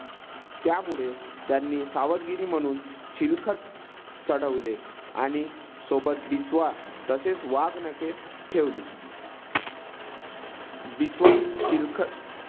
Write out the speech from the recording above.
त्यामुळे त्यांनी सावधगिरी म्हणून चिलखत चढवले आणि सोबत बिचवा तसेच वाघनखे ठेवली. बिचवा चिलखत